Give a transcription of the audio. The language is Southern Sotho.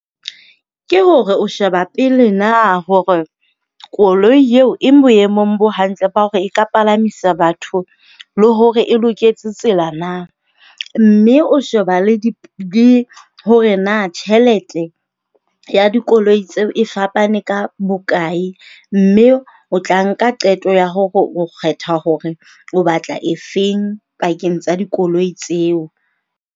Ke hore o sheba pele na hore koloi eo e boemong bo hantle ba hore e ka palamisa batho le hore e loketse tsela na. Mme o sheba le le hore na tjhelete ya dikoloi tseo e fapane ka bokae, mme o tla nka qeto ya hore o kgetha hore o batla efeng pakeng tsa dikoloi tseo.